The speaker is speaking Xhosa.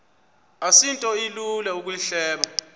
asinto ilula ukuyihleba